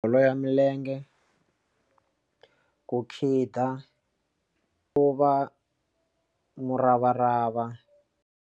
Bolo ya milenge ku khida ku va muravarava.